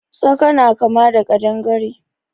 Tsaka na kama da ƙadangare.